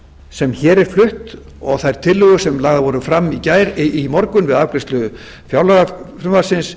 sem hér er flutt og þær tillögur sem lagðar voru fram í morgun við afgreiðslu fjárlagafrumvarpsins